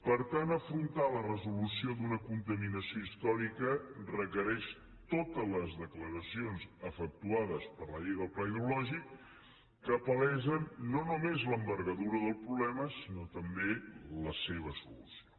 per tant afrontar la resolució d’una contaminació històrica requereix totes les declaracions efectuades per la llei del pla hidrològic que palesen no només l’envergadura del problema sinó també la seva solució